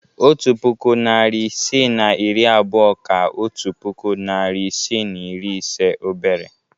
Otu puku, narị isii na iri abụọ ka otu puku, narị isii na iri ise obere